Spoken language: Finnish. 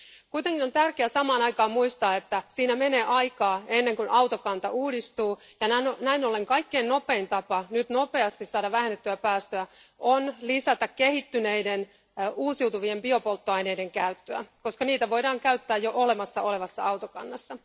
Kuitenkin on tärkeää samaan aikaan muistaa, että menee aikaa ennen kuin autokanta uudistuu, ja näin ollen kaikkein nopein tapa saada nyt nopeasti vähennettyä päästöjä on lisätä kehittyneiden uusiutuvien biopolttoaineiden käyttöä, koska niitä voidaan käyttää jo olemassa olevassa autokannassa.